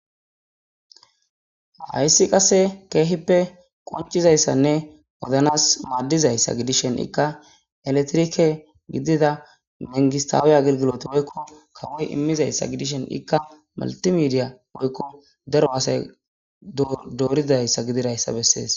Hayssi qasse keehippe qoncizayssanne wodanas maaddizayssa gidishen ikka eletrike gidida mengistaawiya gilgilot woykko kawoy immizayssa gidishen ikka maltimidiya woykko daro asay dooridayssa gidirayssa bessees.